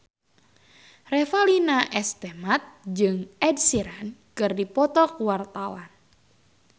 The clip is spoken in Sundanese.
Revalina S. Temat jeung Ed Sheeran keur dipoto ku wartawan